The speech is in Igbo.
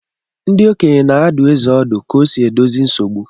Ndị okenye na-adụ eze ọdụ ka o si edozi nsogbu.